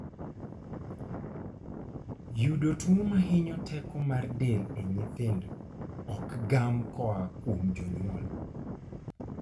Yudo tuo mahinyo teko mar del e nyithindo ok gam koa kuom jonyuol